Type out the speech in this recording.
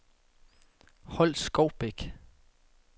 Holskovbæk